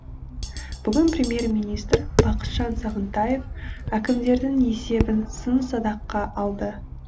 бүгін премьер министр бақытжан сағынтаев әкімдердің есебін сын садаққа алды